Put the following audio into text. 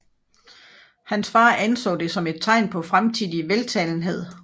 Hans far anså det som et tegn på fremtidig veltalenhed